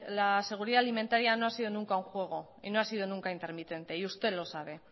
la seguridad alimentaria no ha sido nunca un juego y no ha sido nunca intermitente y usted lo sabe